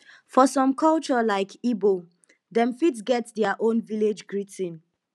for some culture like igbo dem fit get their own village greeting